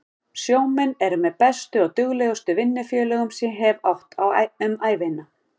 Sjómenn eru með bestu og duglegustu vinnufélögum sem ég hef átt um ævina.